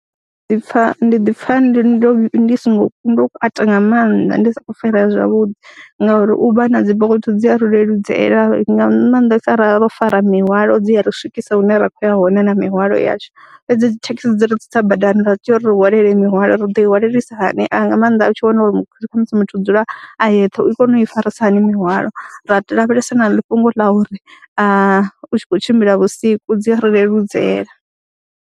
Ndi ḓi pfha, ndi ḓi pfha ndi ndo ndi songo ku ndo kwata nga maanḓa ndi sa khou farea zwavhuḓi ngauri u vha na dzi Bolt dzi a ri leludzela nga maanḓesa ra ro fara mihwalo, dzi ya ri swikisa hune ra khou ya hone na mihwalo yashu fhedzi thekhisi dzi ri tsitsa badani ra tea uri ri hwalele mihwalo, ri ḓo i hwalelisa hani nga maanḓa u tshi wana uri kha musi muthu u dzula a yeṱhe, i kone u i farisa hani mihwalo, ra tea lavhelesa na ḽi fhungo ḽa uri a u tshi khou tshimbila vhusiku dzi ri leludzela.